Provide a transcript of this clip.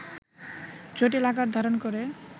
জটিল আকার ধারণ করে